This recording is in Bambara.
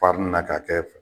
na k'a kɛ